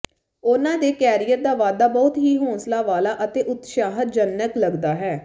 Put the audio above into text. ਉਨ੍ਹਾਂ ਦੇ ਕੈਰੀਅਰ ਦਾ ਵਾਧਾ ਬਹੁਤ ਹੀ ਹੌਂਸਲਾ ਵਾਲਾ ਅਤੇ ਉਤਸ਼ਾਹਜਨਕ ਲੱਗਦਾ ਹੈ